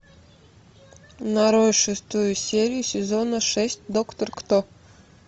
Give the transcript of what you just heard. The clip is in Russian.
нарой шестую серию сезона шесть доктор кто